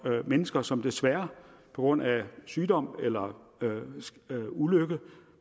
mennesker som desværre på grund af sygdom eller ulykke